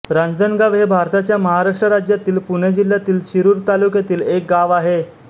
रांजणगाव हे भारताच्या महाराष्ट्र राज्यातील पुणे जिल्ह्यातील शिरूर तालुक्यातील एक गाव आहे